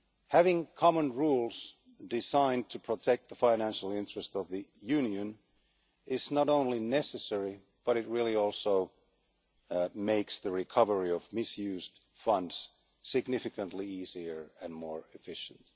Having common rules designed to protect the financial interests of the Union is not only necessary, but it also makes the recovery of misused funds significantly easier and more efficient.